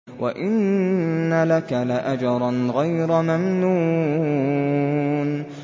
وَإِنَّ لَكَ لَأَجْرًا غَيْرَ مَمْنُونٍ